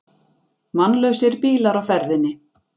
Mannlausir bílar á ferðinni